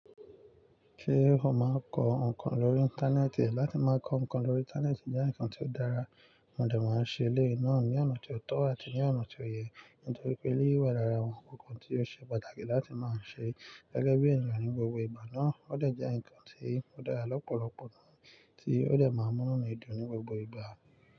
Ṣé o máa ń kọ ǹkan lórí Íńtánẹ́ẹ̀tì? Láti máa kọ ǹkan lórí Íńtánẹ́ẹ̀tì jẹ́ ǹkan tí ó dára, mo dà máa ń ṣe eleyii náà ní ọ̀nà tí ó tọ́ àti ní ọ̀nà tí ó yẹ. Nítorí pé eléyìí wà lára àwọn nkankan tí ó ṣe pàtàkì láti máa ń ṣe gẹ́gẹ́ bí ènìyàn ní gbogbo ìgbà náà. Ó dà jẹ́ ǹkan tí ó dára lọ́pọ̀lọpọ̀ náà tí ó dà máa ń múlẹ̀ nínú ìdùn ní gbogbo ìgbà.